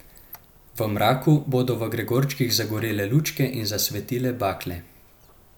V mraku bodo v gregorčkih zagorele lučke in zasvetile bakle.